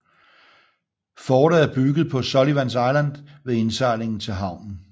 Fortet er bygget på Sullivans Island ved indsejlingen til havnen